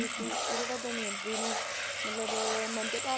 ਸੀ ਉਹ ਜਿਹੜਾ ਦਮਿਅੰਤੀ ਨੂੰ ਮਤਲਬ ਮੰਦਭਾਗੀ